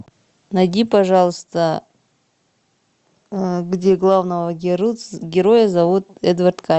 найди пожалуйста где главного героя зовут эдвард